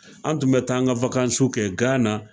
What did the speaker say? An tun bɛ taa an ka kɛ Gana.